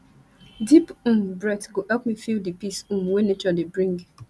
deep um breath go help me feel di peace um wey nature dey bring